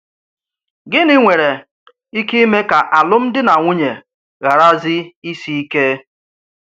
Gịnị̀ nwèrè íké ímè ka alụ́m̀di nà nwùnyè ghàràzí ísì íké?